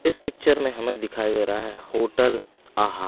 इस पिक्चर में हमें दिखाई दे रहा है होटल आहा--